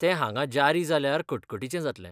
ते हांगा जारी जाल्यार कटकटीचें जातलें .